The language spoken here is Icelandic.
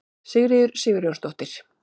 Sigríður Sigurjónsdóttir.